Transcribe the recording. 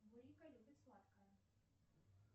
нурика любит сладкое